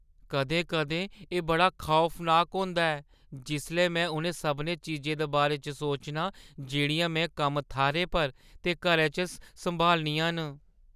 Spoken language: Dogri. कदें-कदें एह् बड़ा खौफनाक होंदा ऐ जिसलै मैं उ'नें सभनें चीजें दे बारे च सोचनां जेह्ड़ियां में कम्म-थाह्‌रै पर ते घरै च सम्हालनियां न।